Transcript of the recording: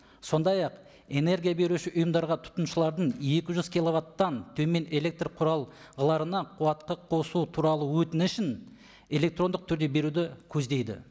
сондай ақ энергия беруші ұйымдарға тұтынушылардың екі жүз киловаттан төмен электр құрал қуатқа қосу туралы өтінішін электрондық түрде беруді көздейді